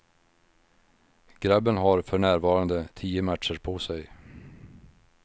Grabben har förnärvande tio matcher på sig.